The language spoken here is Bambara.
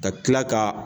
Ka kila ka